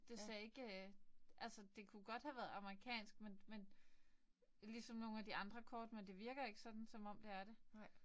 Det ser ikke. Altså det kunne godt have været amerikansk men men ligesom nogle af de andre kort. Men det virker ikke sådan som om det er det